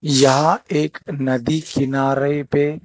यह एक नदी किनारे पे--